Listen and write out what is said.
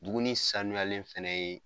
Dumuni sanuyale fana ye.